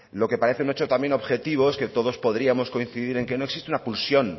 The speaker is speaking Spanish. lo que parece un hecho también objetivo es que todos podíamos coincidir en que no existe una pulsión